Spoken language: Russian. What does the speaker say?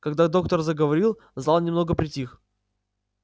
когда доктор заговорил зал немного притих